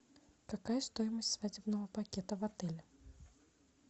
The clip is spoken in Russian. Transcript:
какая стоимость свадебного пакета в отеле